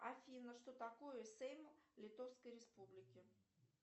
афина что такое сейм литовской республики